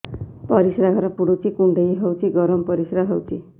ପରିସ୍ରା ଘର ପୁଡୁଚି କୁଣ୍ଡେଇ ହଉଚି ଗରମ ପରିସ୍ରା ହଉଚି